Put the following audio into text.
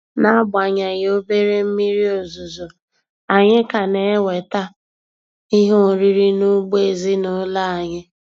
N'agbanyeghị obere mmiri ozuzo, anyị ka na-enweta ihe oriri n'ugbo ezinụlọ anyị.